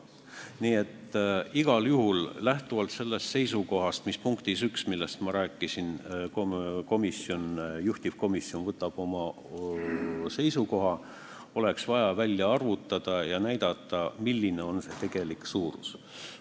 Nii et lähtuvalt ka sellest seisukohast, millest ma rääkisin punktis 1, võiks juhtivkomisjon igal juhul võtta seisukoha, et oleks vaja välja arvutada ja kirja panna, milline on selle summa tegelik suurus.